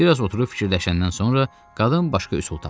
Bir az oturub fikirləşəndən sonra qadın başqa üsul tapdı.